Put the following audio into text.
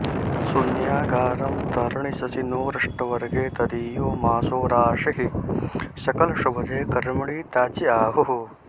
शून्यागारं तरणिशशिनोरष्टवर्गे तदीयो मासो राशिः सकलशुभदे कर्मणि त्याज्य आहुः